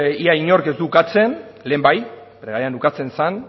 ia inork ez du ukatzen lehen bai bere garaian ukatzen zen